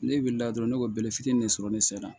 Ne wulila dɔrɔn ne ka bɛlɛ fitinin de sɔrɔ ne sera